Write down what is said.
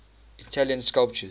italian sculptors